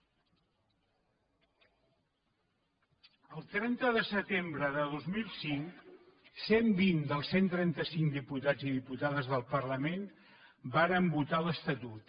el trenta de setembre de dos mil cinc cent i vint dels cent i trenta cinc diputats i diputades del parlament varen votar l’estatut